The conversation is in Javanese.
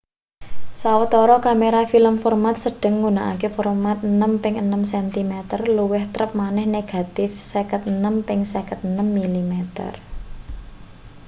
sawetara kamera film format-sedheng nggunakake format 6 ping 6 cm luwih trep maneh negatip 56 ping 56 mm